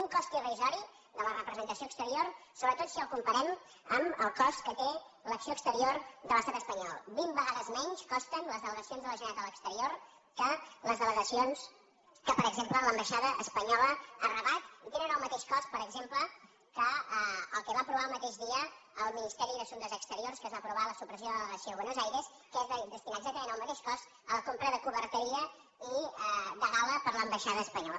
un cost irrisori de la representació exterior sobretot si el comparem amb el cost que té l’acció exterior de l’estat espanyol vint vegades menys costen les delegacions de la generalitat a l’exterior que les delegacions que per exemple l’ambaixada espanyola a rabat i tenen el mateix cost per exemple que el que va aprovar el mateix dia el ministeri d’assumptes exteriors que es va aprovar la supressió de la delegació de buenos aires que és destinar exactament el mateix cost a la compra de coberteria i de gala per a l’ambaixada espanyola